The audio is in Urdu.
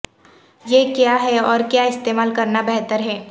یہ کیا ہے اور کیا استعمال کرنا بہتر ہے